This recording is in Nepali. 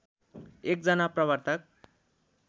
एक जना प्रवर्तक